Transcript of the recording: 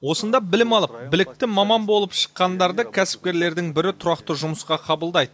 осында білім алып білікті маман болып шыққандарды кәсіпкерлердің бірі тұрақты жұмысқа қабылдайды